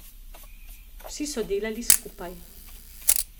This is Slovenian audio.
Vsi so delali skupaj.